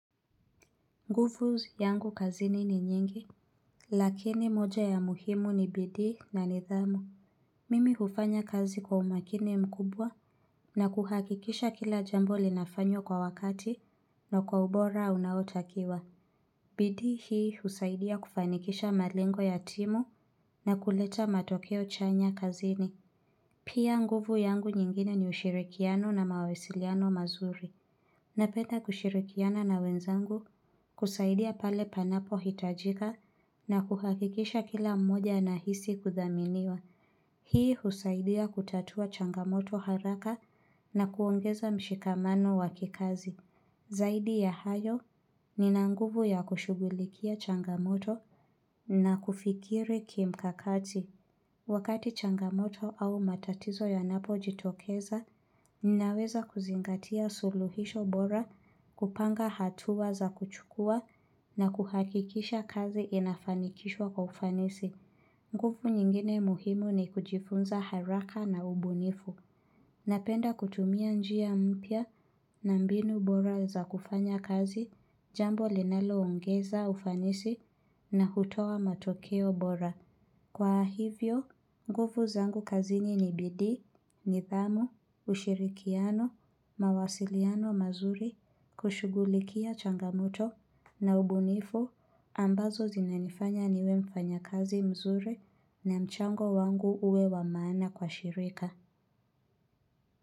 Nguvu yangu kazini ni nyingi, lakini moja ya muhimu ni bidii na nidhamu. Mimi hufanya kazi kwa umakini mkubwa na kuhakikisha kila jambo linafanywa kwa wakati na kwa ubora unaotakiwa. Bidii hii husaidia kufanikisha malengo ya timu na kuleta matokeo chanya kazini. Pia nguvu yangu nyingine ni ushirikiano na mawasiliano mazuri. Napenda kushirikiana na wenzangu kusaidia pale panapohitajika na kuhakikisha kila mmoja anahisi kudhaminiwa. Hii husaidia kutatua changamoto haraka na kuongeza mshikamano wa kikazi. Zaidi ya hayo nina nguvu ya kushugulikia changamoto na kufikiri kimkakati. Wakati changamoto au matatizo yanapojitokeza, ninaweza kuzingatia suluhisho bora, kupanga hatuwa za kuchukua na kuhakikisha kazi inafanikishwa kwa ufanisi. Nguvu nyingine muhimu ni kujifunza haraka na ubunifu. Napenda kutumia njia mpya na mbinu bora za kufanya kazi jambo linaloongeza ufanisi na hutowa matokeo bora. Kwa hivyo, nguvu zangu kazini ni bidii, nidhamu, ushirikiano, mawasiliano mazuri, kushugulikia changamoto, na ubunifu, ambazo zinanifanya niwe mfanyakazi mzuri na mchango wangu uwe wa maana kwa shirika.